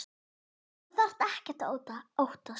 Þú þarft ekkert að óttast.